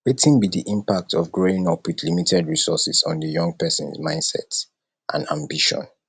wetin be di impact of growing up with limited resources on di young persons mindset and ambition